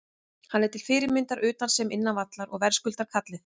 Hann er til fyrirmyndar utan sem innan vallar og verðskuldar kallið.